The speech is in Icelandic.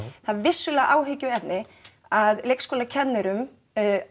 það er vissulega áhyggjuefni að leikskólakennurum